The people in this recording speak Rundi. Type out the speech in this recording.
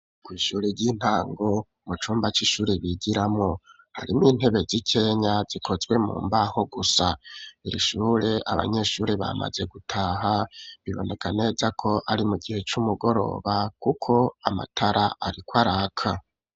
Ku ishuri ry'intango mucumba cishure bigiramo harimo intebe z'ikenya zikozwe mu mbaho gusa irishure abanyeshuri bamaze gutaha biboneka neza ko ari mu gihe cumugoroba kuko amatara ariko araka.